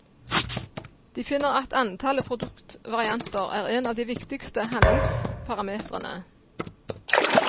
De finner at antallet produktvarianter er en av de viktigste handlingsparametrene.